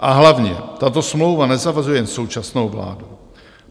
A hlavně tato smlouva nezavazuje jen současnou vládu.